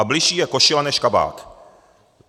A bližší je košile než kabát.